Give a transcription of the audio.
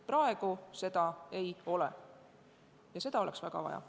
Praegu seda ei ole, aga seda oleks väga vaja.